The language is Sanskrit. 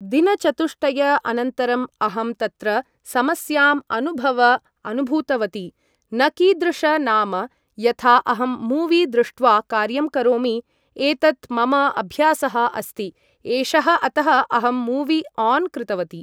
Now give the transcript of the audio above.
दिनचतुष्टय अनन्तरम् अहं तत्र समस्याम् अनुभव अनुभूतवती न कीदृश नाम यथा अहं मूवी दृष्ट्वा कार्यं करोमि एतत् मम अभ्यासः अस्ति एषः अतः अहं मूवी आन् कृतवती ।